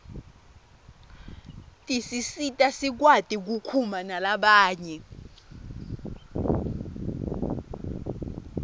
tisisita sikwati kukhuma nalabanye